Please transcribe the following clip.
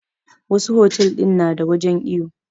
Wassu otel din na da wajen iyo